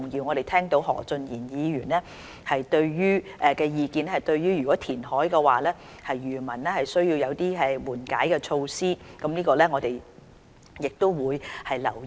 我們聽到何俊賢議員的意見，若進行填海的話，需要對漁民提供緩解措施，我們亦會留意。